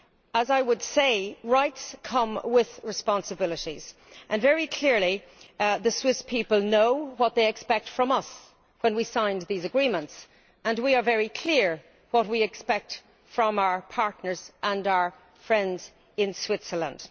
As I would say, rights come with responsibilities, and very clearly the Swiss people know what they expect from us when we sign these agreements, and we are very clear what we expect from our partners and our friends in Switzerland.